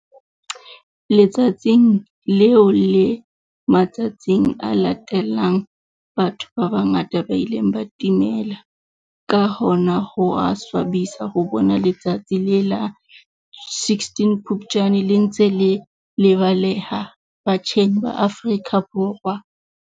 Letsatsing leo le matsatsing a latelang batho ba bangata ba ile ba timela. Ka hona ho a swabisa ho bona letsatsi la la 16 Phupjane le ntse le lebaleha batjheng ba Afrika Borwa.